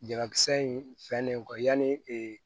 Jabakisɛ in fɛnnen kɔ yani